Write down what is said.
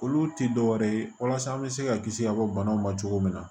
Olu tɛ dɔwɛrɛ ye walasa an bɛ se ka kisi ka bɔ banaw ma cogo min na